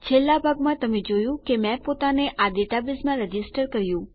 છેલ્લા ભાગમાં તમે જોયું કે મેં પોતાને આ ડેટાબેઝમાં રજીસ્ટર કર્યું